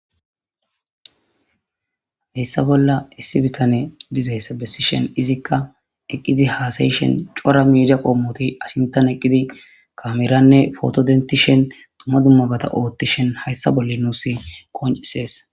hessa bolla issi bitane diza hessa bessishen izikka eqqidi haasayishen cora miida qoommoti ashimtan eqqidi kameranne fotodenti shen tuma dummabata oothtishen hayssa bolle nuus qoncisees